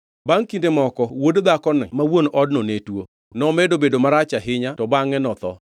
Bangʼ kinde moko wuod dhakoni ma wuon odno ne tuo, nomedo bedo marach ahinya to bangʼe notho.